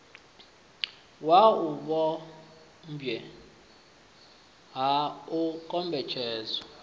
wau vhupombwe ha u kombetshedzwa